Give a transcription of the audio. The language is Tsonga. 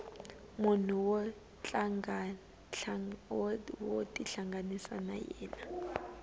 munhu wo tihlanganisa na yena